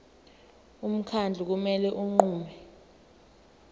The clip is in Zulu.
umkhandlu kumele unqume